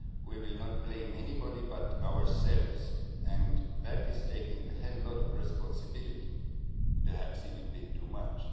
We will not blame anybody but ourselves, and that is taking a whole lot of responsibility, perhaps even a bit too much.